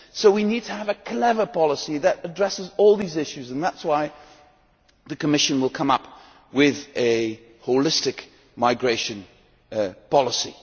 So we need to have a clever policy that addresses all these issues, and that is why the Commission will come up with a holistic migration policy.